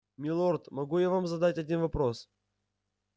милорд могу я вам задать один вопрос